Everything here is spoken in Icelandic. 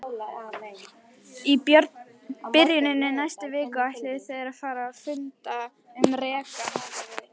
Í byrjun næstu viku ætluðu þeir að funda um rekann.